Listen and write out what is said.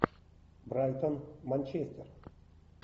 брайтон манчестер